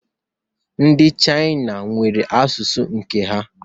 Ndi Chaina nwere asụsụ nke ha